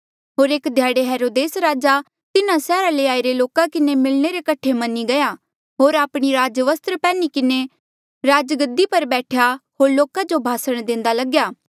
होर एक ध्याड़े हेरोदेस राजा तिन्हा सैहरा ले आईरे लोका किन्हें मिलणे रे कठे मनी गया होर आपणी राजवस्त्र पैन्ही किन्हें राजगद्दी पर बैठया होर लोका जो भाषण देंदा लग्या